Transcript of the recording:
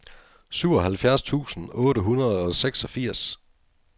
syvoghalvfjerds tusind otte hundrede og seksogfirs